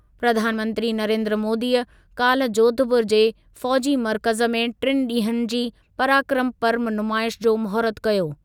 प्रधानमंत्री नरेन्द्र मोदीअ काल्ह जोधपुर जे फ़ौज़ी मर्कज़ु में टिनि ॾींहनि जी पराक्रमु पर्व नुमाइश जो महूरतु कयो।